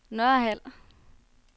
Nørhald